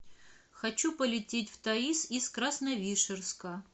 хочу полететь в таиз из красновишерска